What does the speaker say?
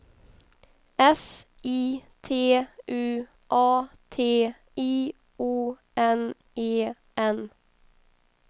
S I T U A T I O N E N